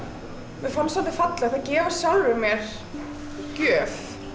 mér fannst svolítið fallegt að gefa sjálfri mér gjöf